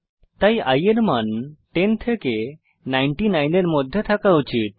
তাই i এর মান 10 থেকে 99 এর মধ্যে থাকা উচিত